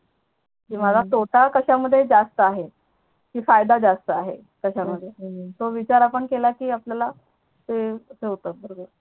कि मला तोटा कश्या मध्ये जास्त आहे कि फायदा जास्त आहे हम्म कश्या मध्ये तो विचार आपण केला कि आपल्याला ते होत बरोबर हम्म